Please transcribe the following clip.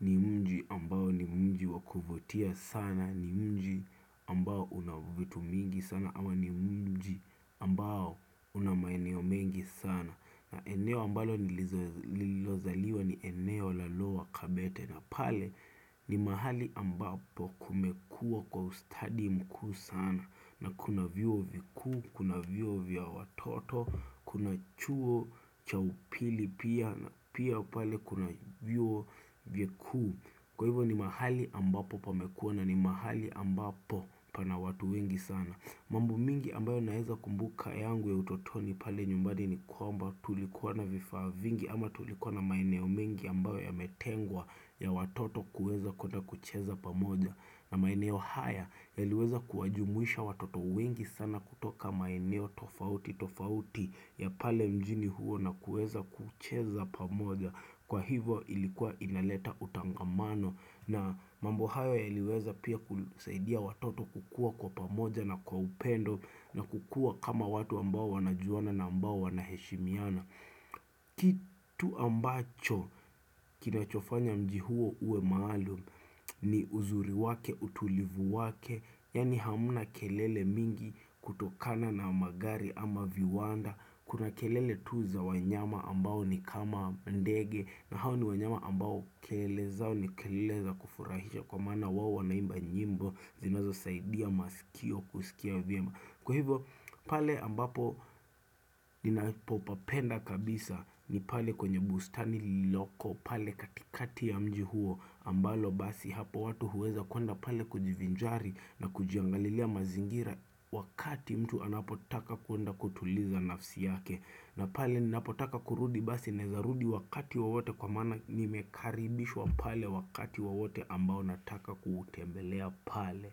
ni mji ambao ni mji wa kuvutia sana. Ni mji ambao una vitu mingi sana ama ni mji ambao una maeneo mengi sana. Na eneo ambalo nililozaliwa ni eneo la lower kabete na pale ni mahali ambapo kumekua kwa ustadi mkuu sana na kuna viuo vikuu, kuna viuo vya watoto, kuna chuo cha upili pia, pia pale kuna viuo vikuu. Kwa hivyo ni mahali ambapo pamekuwa na ni mahali ambapo pana watu wengi sana. Mambo mengi ambayo naweza kumbuka yangu ya utotoni pale nyumbani ni kwamba tulikuwa na vifaa vingi ama tulikuwa na maeneo mengi ambayo yametengwa ya watoto kuweza kuenda kucheza pamoja. Na maeneo haya yaliweza kuwajumuisha watoto wengi sana kutoka maeneo tofauti tofauti ya pale mjini huo na kuweza kucheza pamoja kwa hivo ilikuwa inaleta utangamano na mambo hayo yaliweza pia kusaidia watoto kukua kwa pamoja na kwa upendo na kukua kama watu ambao wanajuana na ambao wanaheshimiana. Kitu ambacho kinachofanya mji huo uwe maalum ni uzuri wake, utulivu wake Yani hamna kelele mingi kutokana na magari ama viwanda. Kuna kelele tu za wanyama ambao ni kama ndege. Na hao ni wanyama ambao kelele zao ni kelele za kufurahisha. Kwa maana wao wanaimba nyimbo zinazosaidia masikio kusikia vyema Kwa hivo pale ambapo ninapopapenda kabisa ni pale kwenye bustani lililoko pale katikati ya mji huo ambalo basi hapo watu huweza kuenda pale kujivinjari na kujiangalilia mazingira wakati mtu anapotaka kuenda kutuliza nafsi yake. Na pale ninapotaka kurudi basi naweza rudi wakati wowote kwa maana nimekaribishwa pale wakati wowote ambao nataka kutembelea pale.